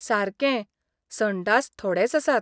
सारकें, संडास थोडेच आसात.